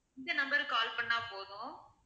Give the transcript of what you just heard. இந்த number க்கு call பண்ணா போதும்.